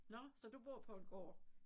Nåh så du bor på en gård